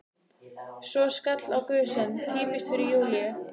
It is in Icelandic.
Svo skall á gusan: Týpiskt fyrir Júlíu!